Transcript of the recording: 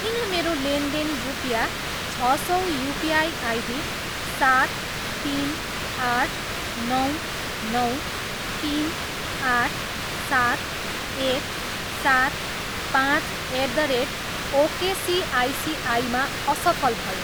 किन मेरो लेनदेन रुपियाँ छ सौ युपिआई आइडी सात, तिन, आठ, नौ, नौ, तिन, आठ, सात, एक, सात, पाँच एट द रेट ओकेसिआइसिआईमा असफल भयो?